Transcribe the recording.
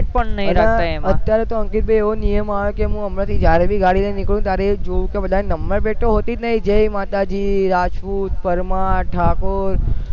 plate પણ નહીં રાખતા એમાં અને અત્યારે તો અંકિત ભાઈ એવો નિયમ આવ્યો હ કે અમુક હમણાં જયારે બી ગાડી લઇ ને નીકળું તો ત્યારે એજ જોવું કે બધા ને નંબર plate તો હોતી નહીં જય માતાજી રાજપૂત પરમાર ઠાકોર